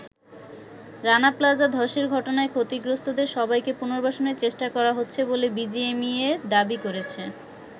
Rana Plaza ধসের ঘটনায় ক্ষতিগ্রস্তদের সবাইকে পুনর্বাসনের চেষ্টা করা হচ্ছে বলে বিজিএমইএ দাবি করেছে।